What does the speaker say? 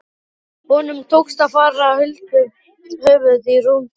Honum tókst að fara huldu höfði í rúmt ár.